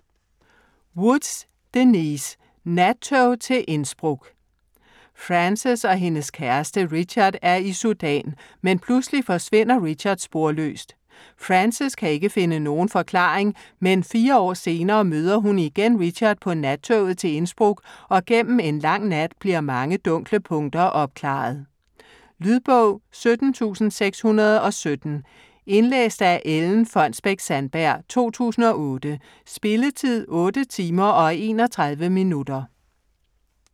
Woods, Denyse: Nattog til Innsbruck Frances og hendes kæreste Richard er i Sudan, men pludselig forsvinder Richard sporløst. Frances kan ikke finde nogen forklaring, men fire år senere møder hun igen Richard på nattoget til Innsbruck og gennem en lang nat bliver mange dunkle punkter opklaret. Lydbog 17617 Indlæst af Ellen Fonnesbech-Sandberg, 2008. Spilletid: 8 timer, 31 minutter.